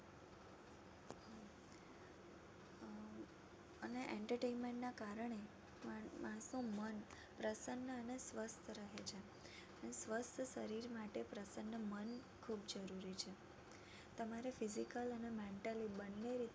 અને Entertainment ના કારણે માં માણસનું મન પ્રસન્ન અને સ્વસ્થ રહે છે અને સ્વસ્થ શરીર માટે પ્રસન્ન મન ખૂબ જરૂરી છે તમારે physical અને mentally બંને રીતે